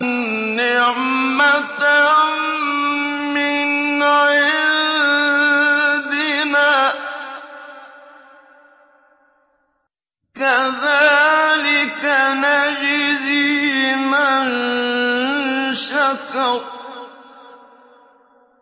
نِّعْمَةً مِّنْ عِندِنَا ۚ كَذَٰلِكَ نَجْزِي مَن شَكَرَ